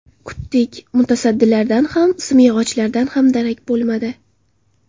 Kutdik, mutasaddilardan ham, simyog‘ochlardan ham darak bo‘lmadi.